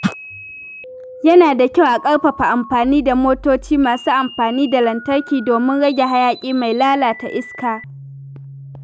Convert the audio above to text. Yana da kyau a ƙarfafa amfani da motoci masu amfani da lantarki domin rage hayaƙi mai lalata iska.